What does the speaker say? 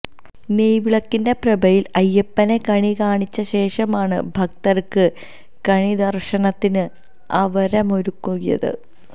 നെയ്വിളക്കിന്റെ പ്രഭയില് അയ്യപ്പനെ കണികാണിച്ച ശേഷമാണ് ഭക്തര്ക്ക് കണിദര്ശനത്തിന് അവരമൊരുക്കിയത്